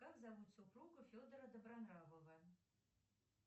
как зовут супругу федора добронравова